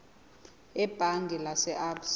ebhange lase absa